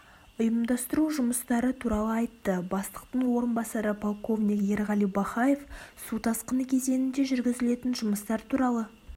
ұйымдастыру жұмыстары туралы айтты бастықтың орынбасары полковник ерғали бахаев су тасқыны кезеңінде жүргізілетін жұмыстар туралы